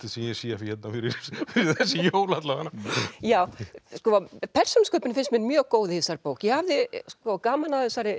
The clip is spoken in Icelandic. sem ég sé fyrir þessi jól alla vega persónusköpunin finnst mér mjög góð í þessari bók ég hafði gaman af þessari